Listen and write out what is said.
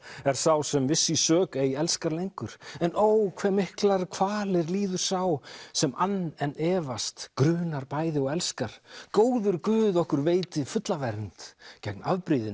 er sá sem viss í sök ei elskar lengur en ó hve miklar kvalir líður sá sem ann en efast grunar bæði og elskar góður Guð okkur veiti fulla vernd gegn